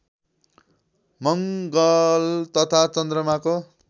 मङ्गल तथा चन्द्रमाको